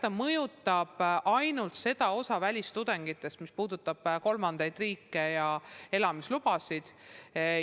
Jah, ta mõjutab, aga ainult seda osa välistudengitest, kes on seotud kolmandate riikide ja elamislubadega.